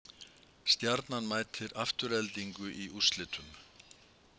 Stjarnan mætir Aftureldingu í úrslitum